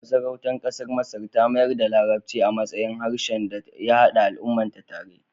Masarautar ƙasar Masar ta mayar da larabci a matsayin harshen da ya haɗa al'ummarta tare.